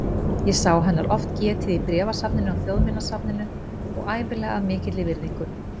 Ég sá hennar oft getið í bréfasafninu á Þjóðminjasafninu og ævinlega af mikilli virðingu.